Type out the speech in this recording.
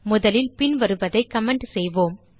முதலில் பின்வருவதை கமெண்ட் செய்வோம்